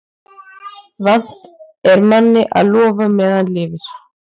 Vant er manni að lofa meðan lifir.